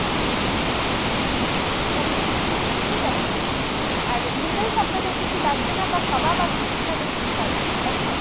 okay ঠিক আছে sir। আর noodles আপনাদের কিছু লাগছেনা বা কাবাব আপনাদের কিছু লাগছেনা তাই তো ?